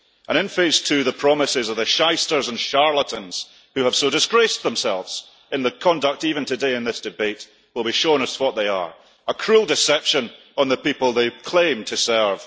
And in phase two, the promises of the shysters and charlatans who have so disgraced themselves even in their conduct today in this debate will be shown for what they are a cruel deception of the people they claim to serve.